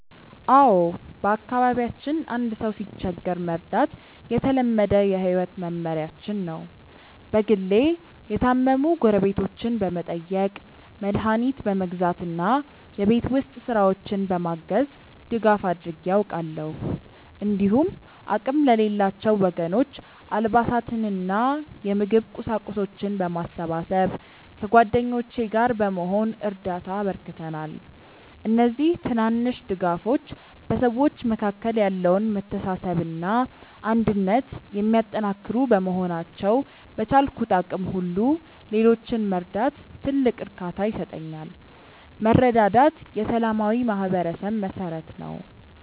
አዎ፣ በአካባቢያችን አንድ ሰው ሲቸገር መርዳት የተለመደ የህይወት መመሪያችን ነው። በግሌ የታመሙ ጎረቤቶችን በመጠየቅ፣ መድኃኒት በመግዛት እና የቤት ውስጥ ስራዎችን በማገዝ ድጋፍ አድርጌ አውቃለሁ። እንዲሁም አቅም ለሌላቸው ወገኖች አልባሳትንና የምግብ ቁሳቁሶችን በማሰባሰብ ከጓደኞቼ ጋር በመሆን እርዳታ አበርክተናል። እነዚህ ትናንሽ ድጋፎች በሰዎች መካከል ያለውን መተሳሰብና አንድነት የሚያጠናክሩ በመሆናቸው፣ በቻልኩት አቅም ሁሉ ሌሎችን መርዳት ትልቅ እርካታ ይሰጠኛል። መረዳዳት የሰላማዊ ማህበረሰብ መሠረት ነው።